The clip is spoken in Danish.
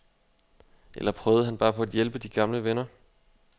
Eller prøvede han bare på at hjælpe gamle venner?